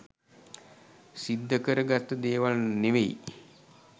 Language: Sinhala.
සිද්ධ කර ගත්ත දේවල් ‍නෙවෙයි.